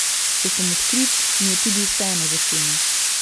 Če sem odkrit, mi je tudi vseeno za cene.